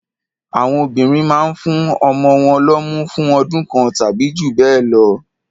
Àwọn obìnrin mán ń fún ọmọ wọn lọ́mú fún ọdún kan tàbí jù bẹ́ẹ̀ lọ.